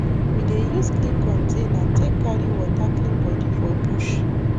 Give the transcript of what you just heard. we dey use clean container take carry water clean body for bush